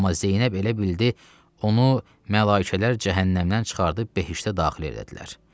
Amma Zeynəb elə bildi, onu mələkələr cəhənnəmdən çıxarıb behişdə daxil elədilər.